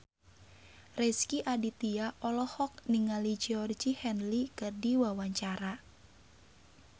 Rezky Aditya olohok ningali Georgie Henley keur diwawancara